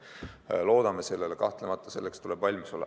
Kahtlemata loodame sellele, selleks tuleb valmis olla.